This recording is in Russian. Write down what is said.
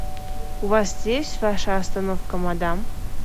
у вас есть ваша остановка мадам